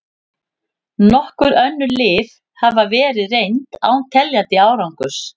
Nokkur önnur lyf hafa verið reynd án teljandi árangurs.